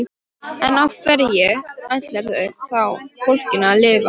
En á hverju ætlarðu þá fólkinu að lifa?